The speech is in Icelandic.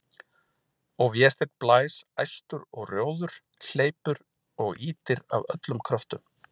Og Vésteinn blæs æstur og rjóður, hleypur og ýtir af öllum kröftum.